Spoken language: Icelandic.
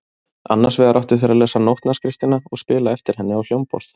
Annars vegar áttu þeir að lesa nótnaskriftina og spila eftir henni á hljómborð.